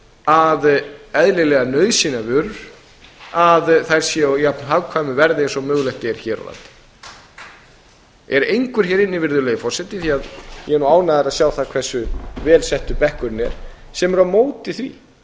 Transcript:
að eðlilegar nauðsynjavörur séu á jafn hagkvæmu verði og mögulegt er hér á landi virðulegi forseti er einhver hér inni því að ég er nú ánægður að sjá það hversu vel settur bekkurinn er sem er á móti því